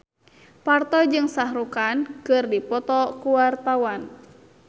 Parto jeung Shah Rukh Khan keur dipoto ku wartawan